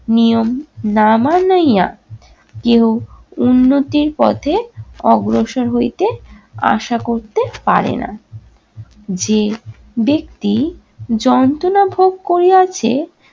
নিয়ম না মানাইয়া কেউ উন্নতির পথে অগ্রসর হইতে আশা করতে পারে না। যে ব্যক্তি যন্ত্রনা ভোগ করিয়াছে